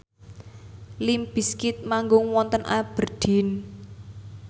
limp bizkit manggung wonten Aberdeen